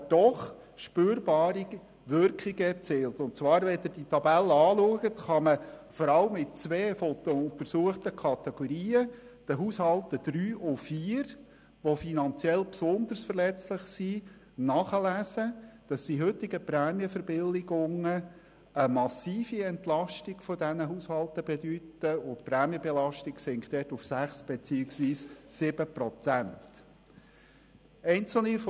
Der Tabelle können Sie entnehmen, dass die heutigen Prämienverbilligungen vor allem in zwei der untersuchten Kategorien, den finanziell besonders verletzlichen Haushalten 3 und 4, eine massive Entlastung bedeuten und die Prämienbelastung dort auf 5 beziehungsweise 7 Prozent sinkt.